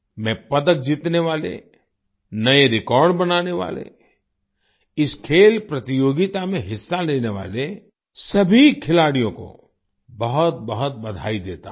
मैं पदक जीतने वाले नए रेकॉर्ड बनाने वाले इस खेल प्रतियोगिता में हिस्सा लेने वाले सभी खिलाड़ियों को बहुतबहुत बधाई देता हूँ